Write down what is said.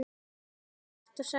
Hér er svart sagt hvítt.